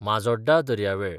माजोड्डा दर्यावेळ